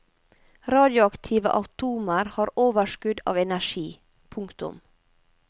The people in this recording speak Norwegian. Radioaktive atomer har overskudd av energi. punktum